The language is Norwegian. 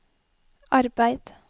arbeid